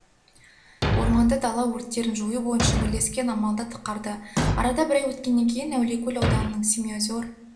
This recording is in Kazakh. орманды-дала өрттерін жою бойынша бірлескен амалды атқарды арада бір ай өткеннен кейін әулиекөл ауданының семиозер